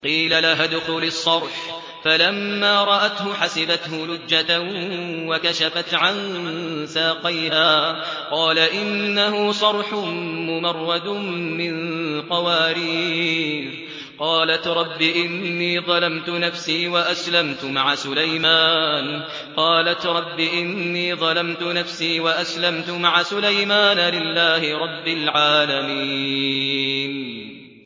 قِيلَ لَهَا ادْخُلِي الصَّرْحَ ۖ فَلَمَّا رَأَتْهُ حَسِبَتْهُ لُجَّةً وَكَشَفَتْ عَن سَاقَيْهَا ۚ قَالَ إِنَّهُ صَرْحٌ مُّمَرَّدٌ مِّن قَوَارِيرَ ۗ قَالَتْ رَبِّ إِنِّي ظَلَمْتُ نَفْسِي وَأَسْلَمْتُ مَعَ سُلَيْمَانَ لِلَّهِ رَبِّ الْعَالَمِينَ